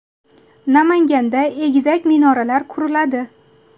Namanganda egizak minoralar quriladi.